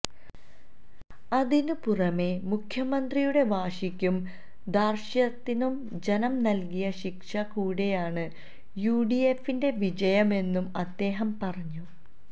അതിന് പുറമെ മുഖ്യമന്ത്രിയുടെ വാശിക്കും ധാര്ഷ്ട്യത്തിനും ജനം നല്കിയ ശിക്ഷ കൂടെയാണ് യുഡിഎഫിന്റെ വിജയമെന്നും അദ്ദേഹം പറഞ്ഞു